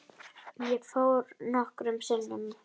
Ég fór nokkrum sinnum.